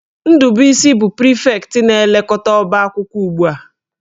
Ndubuisi bụ prịfektị na-elekọta ọba akwụkwọ ugbu a